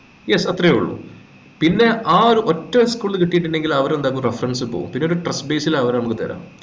yes അത്രേയുള്ളു പിന്നെ ആ ഒരു ഒറ്റ ഒരു school ൽ കിട്ടിട്ടുണ്ടെങ്കിൽ അവര് എന്താകു reference പോവും പിന്നൊരു trust base ലു അവര് മ്മക്ക് തെര